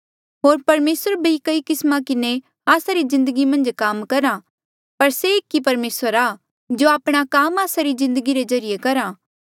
होर परमेसर भी कई किस्मा किन्हें आस्सा री जिन्दगी मन्झ काम करहा पर से एक ई परमेसर आ जो आपणा काम आस्सा री जिन्दगी रे ज्रीए करहा